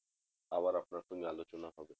আবার আপনার সঙ্গে আলোচনা হবে